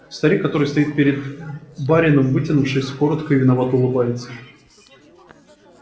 старик который стоит перед барином вытянувшись кротко и виновато улыбается